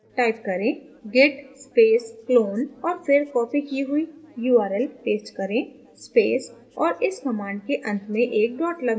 type करें git space clone और फिर copied की हुई url paste करें space और इस command के अंत में एक dot लगाएं